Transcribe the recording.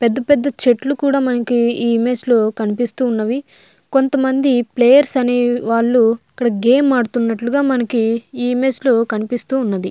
పెద్ద పెద్ద చెట్లు కూడా మనకు ఈ ఇమేజ్ లో కనిపిస్తూ ఉన్నది. గేమ్ ఆడుతున్నట్టు కూడా ఈ ఇమేజ్ లో కనబడుతున్నది.